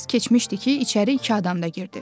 Bir az keçmişdi ki, içəri iki adam da girdi.